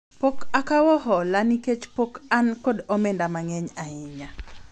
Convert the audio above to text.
pok akawo hola nikech pok an kod omenda mang'eny ahinya